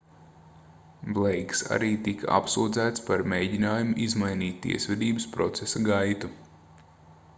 bleiks arī tika apsūdzēts par mēģinājumu izmainīt tiesvedības procesa gaitu